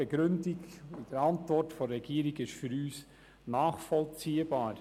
Die Begründung der Regierung ist für uns nachvollziehbar.